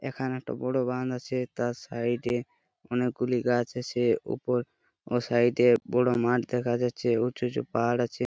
এইখানে একটা বড় বাঁধ আছে। তার সাইড এ অনেকগুলি গাছ আছে। ওপর ওহ সাইড এ বড় মাঠ দেখা যাচ্ছে। উঁচু উঁচু পাহাড় দেখা আছে।